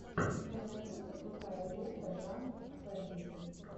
у тебя найдется крутая лента жанр фэнтези